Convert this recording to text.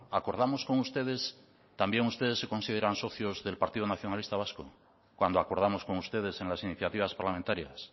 acordamos con ustedes también ustedes se consideran socios del partido nacionalista vasco cuando acordamos con ustedes en las iniciativas parlamentarias